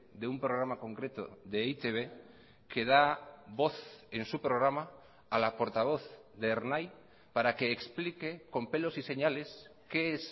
de un programa concreto de e i te be que da voz en su programa a la portavoz de ernai para que explique con pelos y señales qué es